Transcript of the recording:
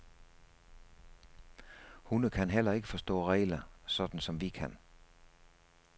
Hunde kan heller ikke forstå regler, sådan som vi kan.